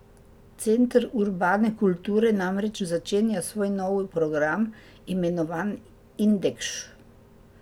Center urbane kulture namreč začenja svoj novi program, imenovan Indekš.